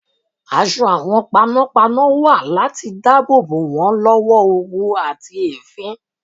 Aṣọ àwọn panọ́panọ́ wà láti dáàbò bò wọ́n lọ́wọ́ oru àti èéfín.